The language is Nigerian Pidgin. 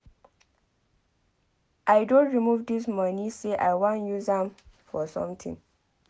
I don remove dis money say I wan use am for something.